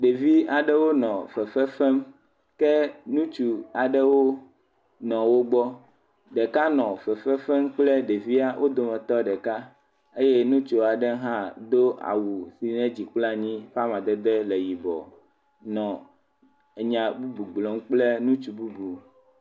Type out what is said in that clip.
Ɖevi aɖewo nɔ fefem ke nutsu aɖewo nɔ wo gbɔ, ɖeka nɔ fefefem kple ɖevia, o dome tɔ ɖeka, eye nutsua ɖe hã do awu si nye dzi kple anyi ƒe amadede le yibɔ, nɔ enya bubu gblɔm kple nutsu bubu.